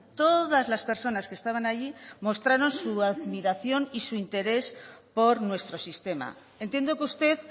todas las personas que estaban allí mostraron su admiración y su interés por nuestro sistema entiendo que usted